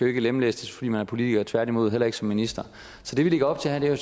ikke lemlæstes fordi man er politiker tværtimod og heller ikke som minister så det vi lægger op til her er jo